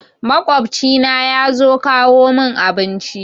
Maƙwabci na yazo kawo mun abinci